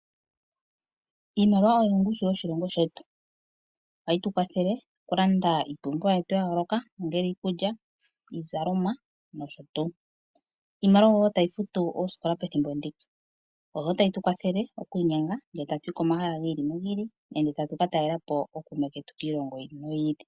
Iimaliwa oyo ongushu yoshilongo shetu . Ohayi tukwathele okulanda oompumbwe dhetu dhayooloka ongele iikulya, iizalomwa noshotuu tuu. Iimaliwa ohayi futu wo oosikopa pethimbo ndika. Ohayi tukwathele okwiinyenga tatuyi pomahala giili nogiili nenge tatu talelapo ookuume ketu kiilongo yiili noyili.